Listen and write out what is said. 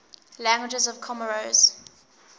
languages of comoros